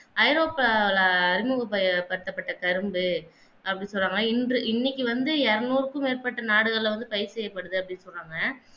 ஐரோப்பால அறிமுகப்படுத்தப்பட்ட கரும்பு அப்பிடி சொல்ரங்க இன்று இன்னைக்கு வந்து எருநூற்றுக்கு மேற்பட்ட நாடுகல்ல வந்து பயிர் செய்யப்படுது அப்பிடின்னு சொல்ராங்க